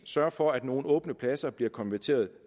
sørger for at nogle åbne pladser bliver konverteret